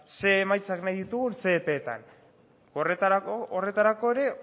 ze emaitzak nahi ditugun ze epeetan horretarako ere